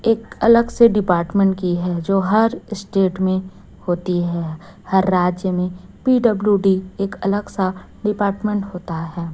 एक अलग से डिपार्टमेंट की है जो हर स्टेट में होती है हर राज्य में पी_डब्लू_डी एक अलग सा डिपार्टमेंट होता है।